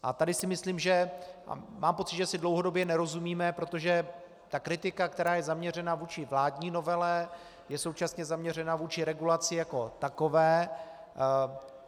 A tady si myslím, že - mám pocit, že si dlouhodobě nerozumíme, protože ta kritika, která je zaměřena vůči vládní novele, je současně zaměřena vůči regulaci jako takové.